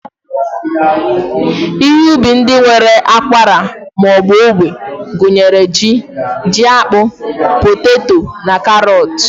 Ihe ubi ndị nwere ákwarà ma ọ bụ ógbè gụnyere ji, jiakpụ, poteto na karọọt.